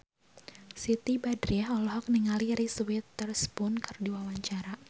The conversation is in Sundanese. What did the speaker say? Siti Badriah olohok ningali Reese Witherspoon keur diwawancara